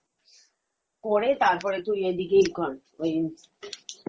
ওইতো momo গুলো কে কুচিয়ে একটু খানি কর বেশি মসলা পাতি দিবি না, momo মাংস কুচিয়ে এটাকে কর, করে তারপরে তুই এদিকে এই কর ওই